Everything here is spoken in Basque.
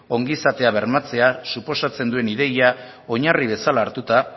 ongizatea bermatzea suposatzen duen ideia oinarri bezala hartuta